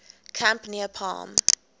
camp near palm